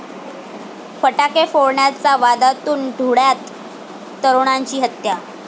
फटाके फोडण्याच्या वादातून धुळ्यात तरूणाची हत्या